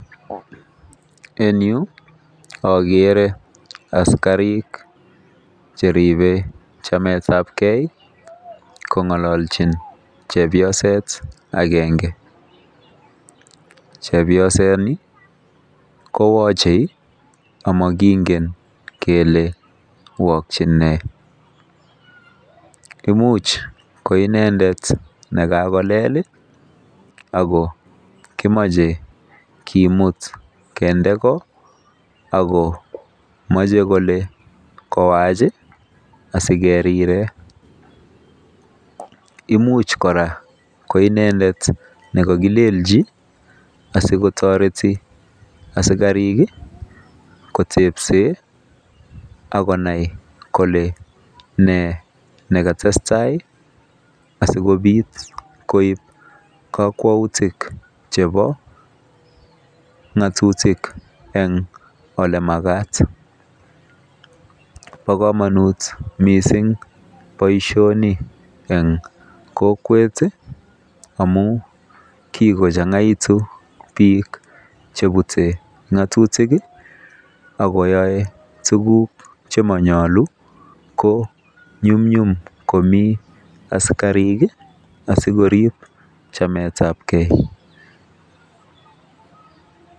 En Yu agere asikarik Cheribe chamet ab gei kongalanchin chepyoset agenge chepyosaini koyache amakingen Kole waking nei imuch koinendet akokakolele imache kemut kende ko ago mache Kole kowach asikeriren imuch koraa koinendet nekakilenchi asikotareti asikarik kotesen akonai Kole ne nekatestai asikobit koib kakwautik chebo ngatutik en olemakat ba kamanut mising Baishonik en kokwet amun kikochangaitun bik chebute ngatutik akoyae tuguk chemanyalu ko nyumnyum komii asikarik sikorib chamet ab gei